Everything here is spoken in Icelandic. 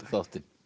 þáttinn